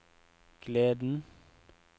gleden